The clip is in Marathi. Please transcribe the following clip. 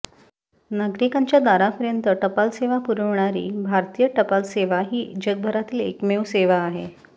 नागरिकांच्या दारापर्यंत टपालसेवा पुरवणारी भारतीय टपाल सेवा ही जगभरातील एकमेव सेवा आहे